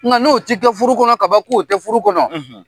Nga n'o ti kɛ furu kɔnɔ ka ban , k'o ti furu kɔnɔ.